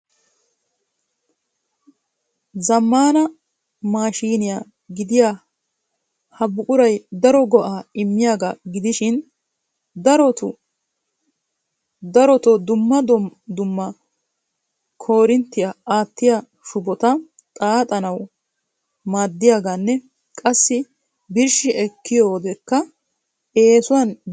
Zammana maashiniya gidiya ha buquray daro go"a immiyaaga gidishin darotoo dumma dumma koorinttiyaa aattiya shubota xaaxxanaw maaddiuaaganne qassi birshshi ekkiyoodekka eessuwan birshshanaw maaddiyaaga.